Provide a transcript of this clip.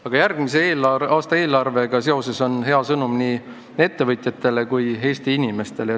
Aga järgmise aasta eelarvega seoses on hea sõnum nii ettevõtjatele kui Eesti inimestele.